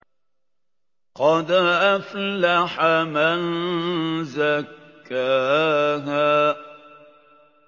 قَدْ أَفْلَحَ مَن زَكَّاهَا